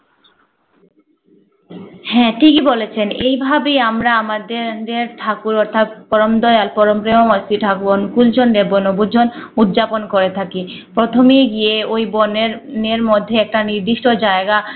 হ্যা ঠিকি বলেছেন এভাবেই আমরা আমাদের দের দের ঠাকুর অথাৎ পরম দয়াল পরম শেহ্র ময় শ্রী ঠকুন কুসুন্দে বনভূজন উদযাপন করে থাকি। প্রথমে গিয়ে ওই বনের নের মধ্যে একটা নির্দিষ্ট জাগয়া আহ